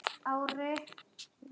Vífill og Katrín.